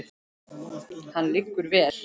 Hann liggur vel.